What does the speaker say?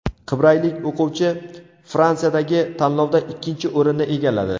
Qibraylik o‘quvchi Fransiyadagi tanlovda ikkinchi o‘rinni egalladi.